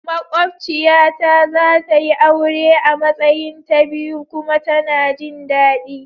Maƙwociya ta zatayi aure a Matsayin ta biyu kuma tana jin dadi.